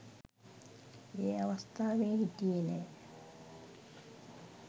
ඒ අවස්ථාවේ හිටියේ නෑ